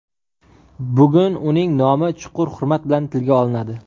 Bugun uning nomi chuqur hurmat bilan tilga olinadi.